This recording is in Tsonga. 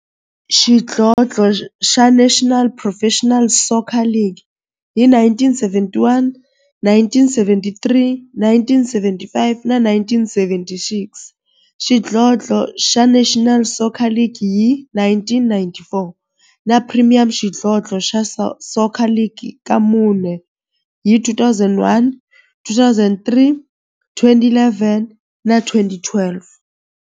xidlodlo xa National Professional Soccer League hi 1971, 1973, 1975 na 1976, xidlodlo xa National Soccer League hi 1994, na Premier Xidlodlo xa Soccer League ka mune, hi 2001, 2003, 2011 na 2012.